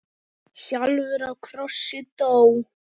sjálfur á krossi dó.